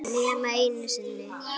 Nema einu sinni.